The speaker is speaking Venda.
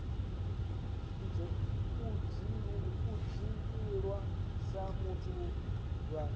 u dzhiiwa sa vhathu vha